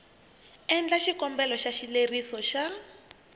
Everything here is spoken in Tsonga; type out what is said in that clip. endla xikombelo xa xileriso xa